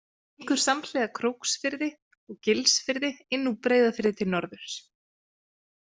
Hann gengur samhliða Króksfirði og Gilsfirði inn úr Breiðafirði til norðurs.